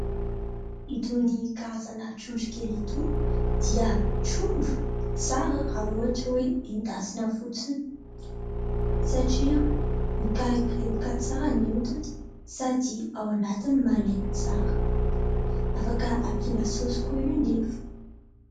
Itony karazana trondro kely itony dia trondro tsara raha ohatra hoe endasina fotsiny satria mikarepodrepoka tsara ny odiny sady ao anatiny malemy tsara. Afaka ampina "sôsy" koa io nefa.